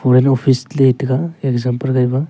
wel office letaiga example gaihha.